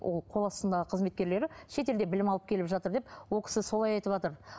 ол қол астындағы қызметкерлері шетелде білім алып келіп жатыр деп ол кісі солай айтыватыр